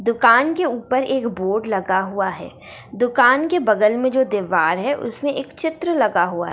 दुकान के ऊपर एक बोर्ड लगा हुआ है। दुकान के बगल में जो दीवार है उसमे एक चित्र लगा हुआ है।